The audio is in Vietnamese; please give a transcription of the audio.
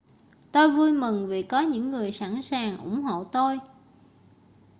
tôi vui mừng vì có những người sẵn sàng ủng hộ tôi